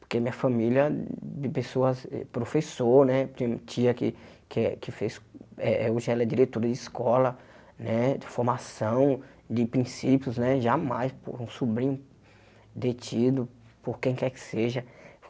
porque minha família de pessoas, eh professor, né, tem tia que que fez, eh eh hoje ela é diretora de escola, né, de formação, de princípios, né, jamais por um sobrinho detido, por quem quer que seja.